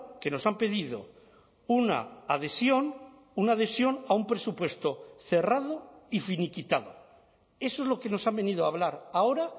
que nos han pedido una adhesión una adhesión a un presupuesto cerrado y finiquitado eso es lo que nos han venido a hablar ahora